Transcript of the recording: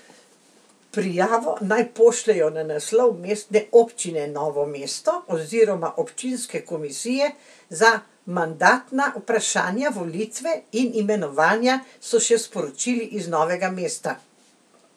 Prijavo naj pošljejo na naslov Mestne občine Novo mesto oziroma občinske komisije za mandatna vprašanja, volitve in imenovanja, so še sporočili iz Novega mesta.